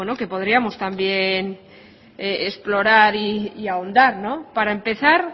que podríamos también explorar y ahondar para empezar